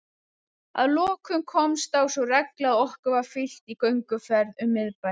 Að lokum komst á sú regla að okkur var fylgt í gönguferð um miðbæ